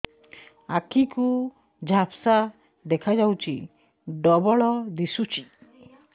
ଆଖି କୁ ଝାପ୍ସା ଦେଖାଯାଉଛି ଡବଳ ଦିଶୁଚି